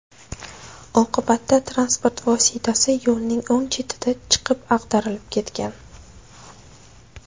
Oqibatda transport vositasi yo‘lning o‘ng chetiga chiqib ag‘darilib ketgan.